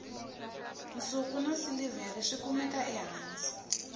nsuku na silivhere swi kumeka ehansi